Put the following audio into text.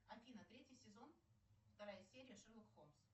афина третий сезон вторая серия шерлок холмс